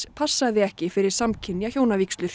passaði ekki fyrir samkynja hjónavígslur